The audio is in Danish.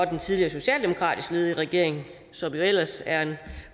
den tidligere socialdemokratisk ledede regering som ellers